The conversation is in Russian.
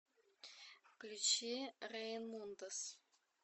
включи реймундос